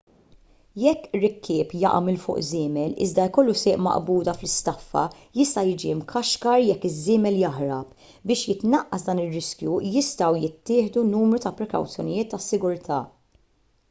jekk rikkieb jaqa' minn fuq żiemel iżda jkollu sieq maqbuda fl-istaffa jista' jiġi mkaxkar jekk iż-żiemel jaħrab biex jitnaqqas dan ir-riskju jistgħu jittieħdu numru ta' prekawzjonijiet ta' sigurtà